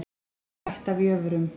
Spyr ætt að jöfrum.